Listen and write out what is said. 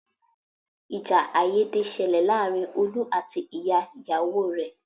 Ìjà àìyédè ṣẹlẹ̀ láàárín Olú àti ìyá ìyàwó rẹ̀.